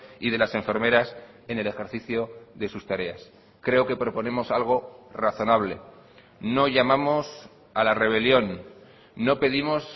y de las enfermeras en el ejercicio de sus tareas creo que proponemos algo razonable no llamamos a la rebelión no pedimos